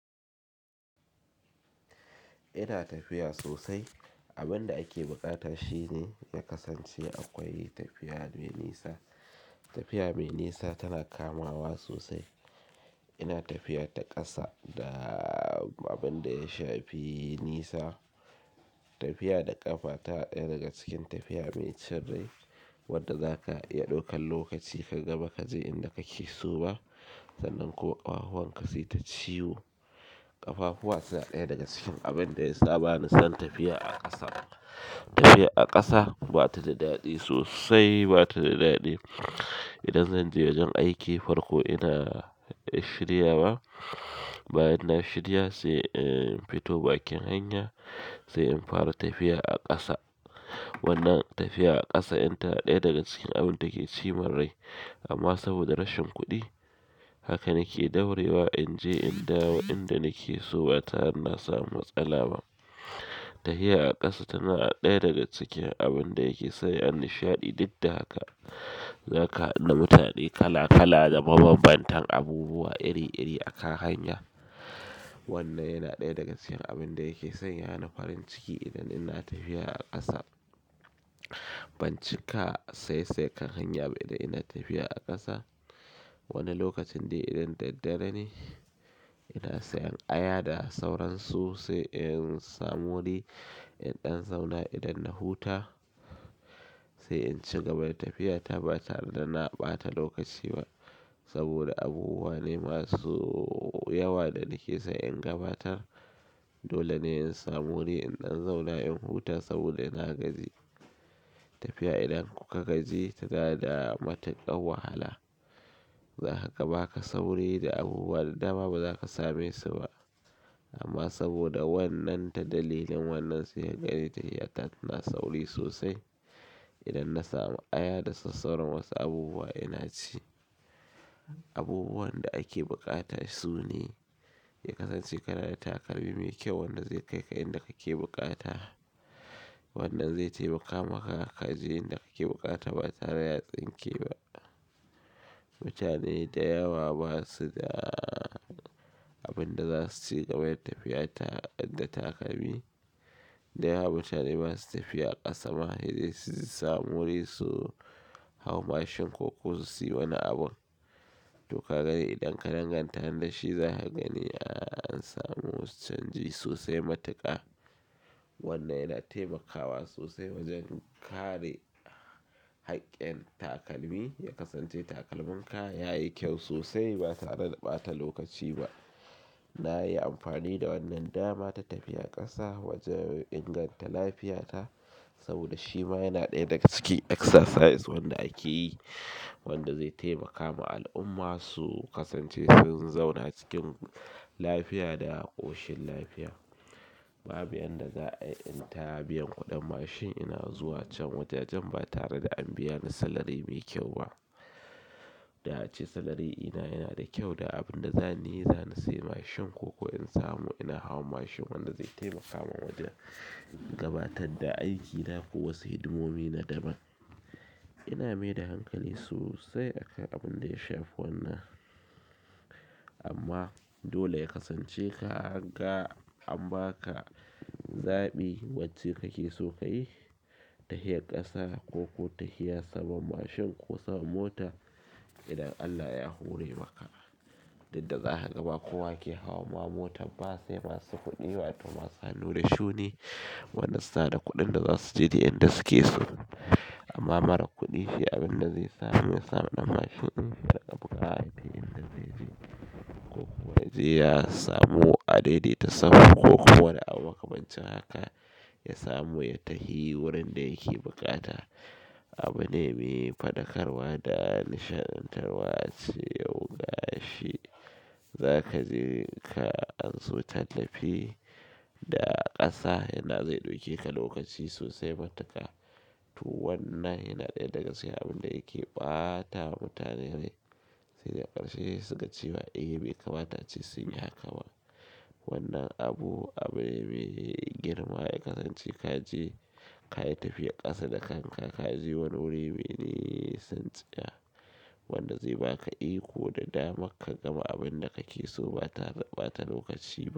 Ina tafiya sosai. Abin da ake bukata shine ya kasance akwai tafiya mai nisa. Tafiya mai nisa tana kamawa sosai. Ina tafiya ta ƙasa da abin da ya shafi nisa. Tafiya da ƙafa ta naya daga cikin tafiya mai cin rai wadda zaka iya ɗaukan lokaci kaga ba ka je inda kake so ba sannan ko ƙafahuwanka suyi ta ciwo. Ƙafahuwa suna ɗaya daga cikin abin da ya saba ni zan tafiya a ƙasa. Tafiya a ƙasa ba ta da daɗi sosai ba ta da daɗi. Idan zan je wajen aiki farko ina shirya wa. Bayan na shirya sai in fito bakin hanya sai in fara tafiya a kasa wannan tafiya a kasa in tana ɗaya daga cikin abunda ke cimin rai amma saboda rashin kuɗi haka nike daurewa inje in dawo inda nike so ba tare da nasa mu matsala ba tafiya a ƙasa tana ɗaya daga cikin abin da yake sanya ni nishaɗi. Duk da haka zaka haɗu da mutane kala kala da mabanbantan abubuwa iri iri a kan hanya. Wannan yana ɗaya daga cikin abin da yake sanya ni farin ciki idan ina tafiya a ƙasa. Ban cika saye saye kan hanya ba idan ina tafiya a ƙasa. Wani lokacin dai idan daddare ne ina sayan aya da sauransu sai in samu wuri in ɗan zauna idan na huta sai in cigaba. Tafiya ta ba tare da na ɓata lokaci ba saboda abubuwa ne masu yawa da nake san in gabatar. Dole ne in samu wuri in dan zauna in huta saboda nagaji tafiya idan kuka gaji tana da matuƙar wahala. Zaka baka sauri da abubuwa da dama ba zaka same su ba. Amma saboda wannan ta dalilin wannan sai kagani tafiya ta tana sauri sosai. Idan na samu aya da sassauran wasu abubuwa ina ci. Abubuwan da ake buƙata sune ya kasance kanada takalmi mai kyau wanda zai kai ka inda kake buƙata. Wannan zai taimaka maka ka je inda kake buƙata ba tare da ya tsinke ba. Mutane dayawa basu da abin da za su ci kaman tafiya ta da takalmi. Dayawa mutane ba su tafiya a ƙasa ba sai dai su samu wuri su hau mashin koko su siyo wani abu. To ka ga idan ka danganta ni ɗashi za ka gani an samu canji sosai matuƙa. Wannan yana taimakawa sosai wajen kare haƙƙin takalmi ya kasance takalminka yayi kyau sosai ba tare da ɓata lokaci ba. Na yi amfani da wannan dama ta tafiya ƙasa wajen inganta lafiyata saboda shi ma yana ɗaya daga cikin exercise wanda ake yi wanda zai taimaka ma al'umma su kasance sun zauna cikin lafiya da ƙoshin lafiya. Babu yanda za a inta biyan kuɗin mashin ina zuwa can wajajan ba tare da an biya ni salari mai kyau ba. Da ace salari ina yana da kyau da abin da zanyi za ni sayi mashin ko in samu ina hauwa mashin wanda zai taimaka min wajen gabatar da aikina ko wasu hidimomi na dama. Ina mai da hankali sosai akan abin da ya shafi wannan. Amma dole ya kasance ka ga an baka zaɓi wacce kake so ka yi. Tafiyar kasa koko tafiyar saman mashin koko saman mota idan Allah ya hore maka duk da zaka ga ba kowa ke hawan ma motar ba sai masu kuɗi watoh masu hannu da shuni wanda suna da kuɗin da za su je duk inda su ke so. Amma marar kuɗi shi abin da zai samu ya samu ɗan mashin in ta buƙatar duk inda zai je ko kuma ya je ya samu a daidaita safa ko kuwa da an makamancin haka ya samu ya tahi wurin da yake buƙata. Abune me faɗakarwa da nishaɗantarwa. Ace yau ga shi za ka je ka an so ta tafi da ƙasa yana ina zai ɗauke ka lokaci sosai matuƙa. To wannan yana ɗaya daga cikin abin da yake ɓata wa mutane rai. Sai ga ƙarshe suka cewa eh be kamata ce su yi haka ba. Wannan abu abu me girma ya kasance ka je kayi tafiyar ƙasa da kanka ka je wani wuri me nisan tsiya wanda zai baka iko da damar ka gama abin da kake so ba tare da ɓata lokaci ba.